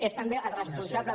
és també el responsable